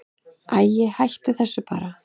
Æi, hættu þessu bara.